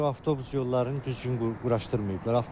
Bu avtobus yollarını düzgün quraşdırmayıblar.